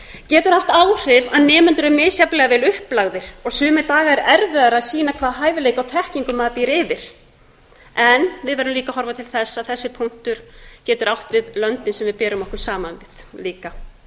getur haft áhrif að nemendur eru misjafnlega vel upplagðir og sumir dagar erfiðara að sýna hvaða hæfileika og þekkingu maður býr yfir við verðum líka að horfa til þess að þessi punktur getur átt við löndin sem við berum okkur saman við líka